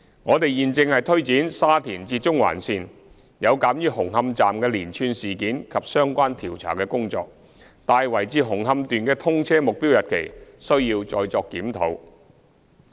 我們現正推展沙田至中環線，有鑒於紅磡站的連串事件及相關調查工作，大圍至紅磡段的通車目標日期需要再作檢討。